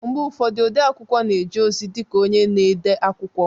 Mgbe ụfọdụ, odeakwụkwọ na-eje ozi dị ka onye na-ede akwụkwọ